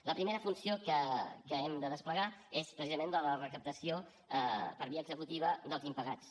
la primera funció que hem de desplegar és precisament la de la recaptació per via executiva dels impagats